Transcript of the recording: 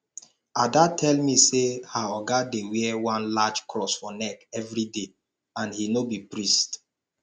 ada tell me say her oga dey wear one large cross for neck everyday and he no be priest